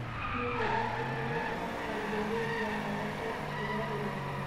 Hihi anyitanĩri a Saudi Arabia moete ikinya rĩrĩku?